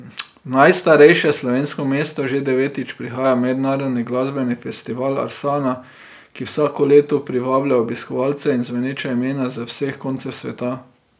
V najstarejše slovensko mesto že devetič prihaja mednarodni glasbeni festival Arsana, ki vsako leto privablja obiskovalce in zveneča imena z vseh koncev sveta.